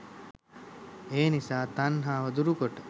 එනිසා තණ්හාව දුරුකොට